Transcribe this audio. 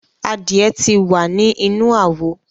Adie ti wa ni inu awo